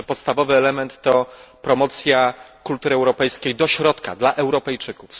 Myślę, że podstawowy element to promocja kultury europejskiej do środka, dla Europejczyków.